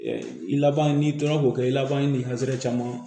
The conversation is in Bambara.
I laban n'i tora k'o kɛ i laban ye ni caman